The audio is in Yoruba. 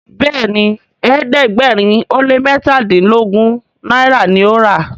Béèni ẹ̀ẹ́dẹ̀gbẹ̀rin o lẹ mẹtadilogun náírà ní o rà.